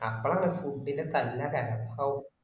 അമ്ബലക്ക food ൻറെ തള്ള്ക്ക